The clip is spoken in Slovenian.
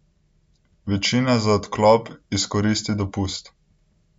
Večina za odklop izkoristi dopust.